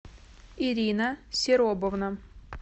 ирина серобовна